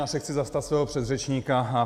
Já se chci zastat svého předřečníka.